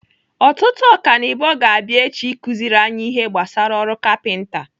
Ọtụtụ ọkanibo ga-abịa echi ịkụziri anyị ihe gbasara ọrụ kapinta.